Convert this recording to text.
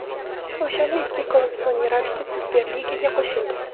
O‘shanda ikki klub sun’iy ravishda Superligaga qo‘shildi.